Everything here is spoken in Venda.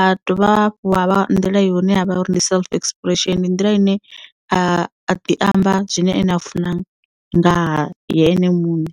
a dovha hafhu ya vha nḓila ye hune ha vha uri ndi self expression ndi nḓila ine a ḓi amba zwine ene a funa ngaha ye ene muṋe.